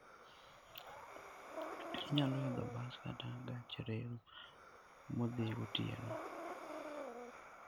Inyalo idho bas kata gach reru modhi gotieno.